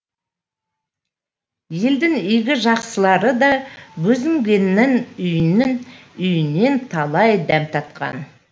елдің игі жақсылары да бозінгеннің үйінен талай дәм татқан